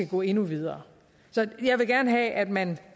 gå endnu videre så jeg vil gerne have at man